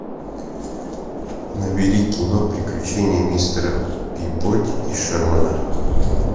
набери кино приключения мистера пибоди и шермана